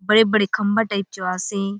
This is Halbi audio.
बड़े बड़े खम्बा टाइप चो आसे।